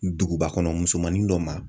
Duguba kɔnɔ musomanin dɔ ma